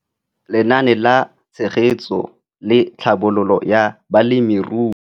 Lenaane la Tshegetso le Tlhabololo ya Balemirui.